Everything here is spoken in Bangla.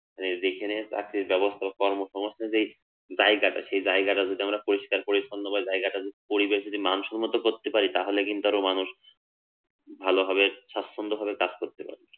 এই যেখানে চাকরির ব্যবস্থা বা কর্মসংস্থানের যে জায়গাটা সে জায়গাটা যদি আমরা পরিস্কার করে অথবা জায়গাটার পরিবেশ যদি মানসম্মত করতে পারি তাহলে কিন্তু আরো মানুষ ভালো ভাবে স্বাচ্ছন্দভাবে কাজ করতে পারবে